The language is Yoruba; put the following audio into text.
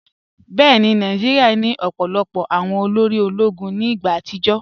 Bẹẹni, Nàìjíríà ni ọ̀pọ̀lọpọ̀ awọn òlórí òló̩gún ní igba àtìjọ́.